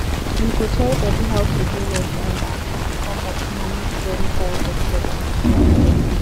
we go try sabi how to do wells um on ground come up small make flood no carry dirty water enter